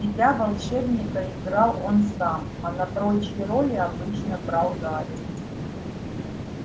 себя волшебника играл он сам а на прочие роли обычно брал гарри